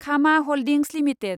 Khama holdings limited